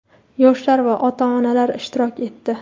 yoshlar va ota-onalar ishtirok etdi.